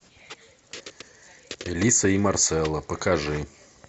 элиса и марсела покажи